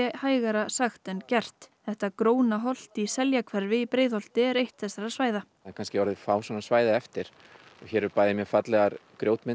hægara sagt en gert þetta gróna holt í Seljahverfi í Breiðholti er eitt þessara svæða það eru kannski orðin fá svona svæði eftir það eru bæði mjög fallegar